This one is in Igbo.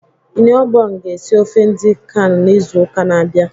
Iniobong ga esi ofe edi kan n'izu uka na-abịa.